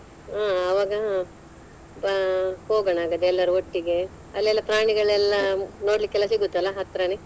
ಹ ಅವಾಗ ಹೋಗೋನಾ ಹಾಗಾದ್ರೆ ಎಲ್ಲರು ಒಟ್ಟಿಗೆ ಅಲ್ಲೆಲ್ಲಾ ಪ್ರಾಣಿಗಳೆಲ್ಲಾ ನೋಡಲಿಕ್ಕೆಲ್ಲಾ ಸಿಗುತ್ತಲ್ಲಾ ಹತ್ರಾನೆ?